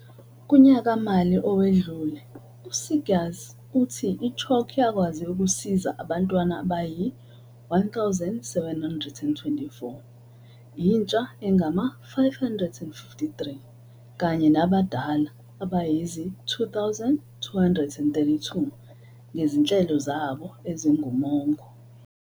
Kunyaka-mali owedlule, u-Seegers uthi i-CHOC yakwazi ukusiza abantwana abayi-1 724, intsha engama-553 kanye nabadala abayizi-2 232 ngezinhlelo zabo ezingumongo.